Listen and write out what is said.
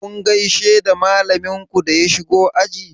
Kun gaishe da malamin ku da ya shigo aji?